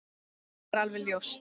Það er alveg ljóst.